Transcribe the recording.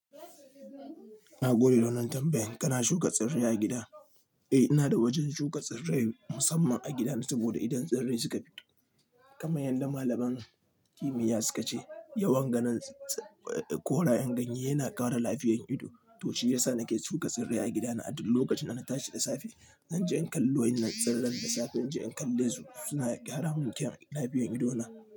Nagode da wannan tambayan kana shuka tsirrai a gida? Eh, ina da wajen shuka tsirrai musamman a gida saboda idan tsirrai suka fito. Kamar yadda malaman kimiyya suka ce, yawan ganin korayan ganye yana kara lafiyar ido. To shiyasa nake shuka tsirrai a gidana. A duk lokacin da na tashi da safe, zan je in kallo wa yinnan tsirran da safe. Zan je in kalle su suna kara mun kyan lafiyar idona.